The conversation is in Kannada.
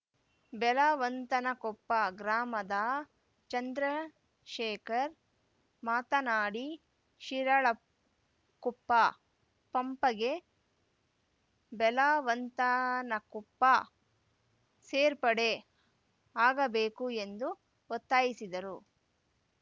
ಬೆಲವಂತನಕೊಪ್ಪ ಗ್ರಾಮದ ಚಂದ್ರಶೇಖರ್‌ ಮಾತನಾಡಿ ಶಿರಾಳಕೊಪ್ಪ ಪಪಂಗೆ ಬೆಲವಂತನಕೊಪ್ಪ ಸೇರ್ಪಡೆ ಆಗಬೇಕು ಎಂದು ಒತ್ತಾಯಿಸಿದರು